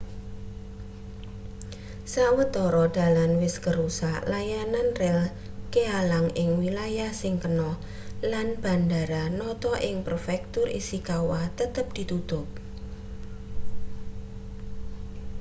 sawetara dalan wis kerusak layanan rel kealang ing wilayah sing kena lan bandara noto ing prefektur ishikawa tetep ditutup